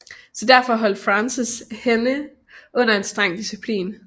Så derfor holdt Frances hende under en streng disciplin